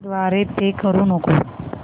द्वारे पे करू नको